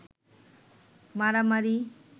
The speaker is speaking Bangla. মারামারি